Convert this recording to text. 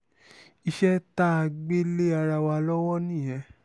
iṣẹ́ tá a gbé lé ara wa lọ́wọ́ nìyẹn